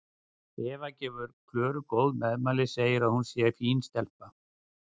Eva gefur Klöru góð meðmæli, segir að hún sé fín stelpa.